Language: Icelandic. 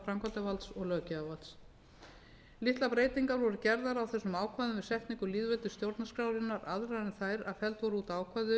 framkvæmdarvalds og löggjafarvalds litlar breytingar voru gerðar á þessum ákvæðum við setningu lýðveldisstjórnarskrárinnar aðrar en þær að felld voru út ákvæði um